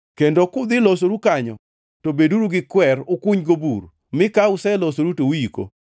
kendo kudhi losoru kanyo, to beduru gi kwer, ukunygo bur, mi ka uselosoru to uiko.